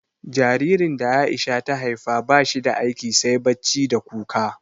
Jaririn da A'isha ta haifa ba shi da aiki sai bacci da kuka.